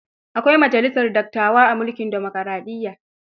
Akwai majalisar dattawa a mulkin dimokaraɗiyya.